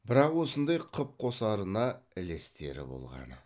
бірақ осындай қып қосарына ілестері болғаны